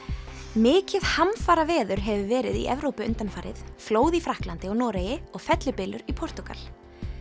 mikið hamfaraveður hefur verið í Evrópu undanfarið flóð í Frakklandi og Noregi og fellibylur í Portúgal